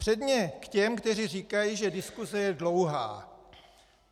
Předně k těm, kteří říkají, že diskuse je dlouhá.